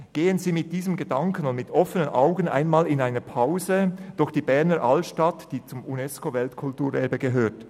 Gehen Sie mit diesem Gedanken und offenen Augen mal in einer Pause durch die Berner Altstadt, die zum Unesco-Weltkulturerbe gehört.